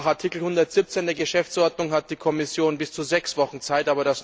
Nach Artikel 117 der Geschäftsordnung hat die Kommission bis zu sechs Wochen Zeit.